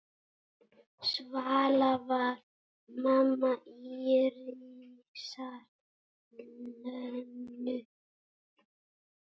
Svala var mamma Írisar Lönu.